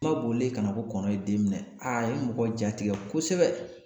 Ba bolilen kana ko kɔnɔ ye den minɛ a ye mɔgɔ jatigɛ kosɛbɛ.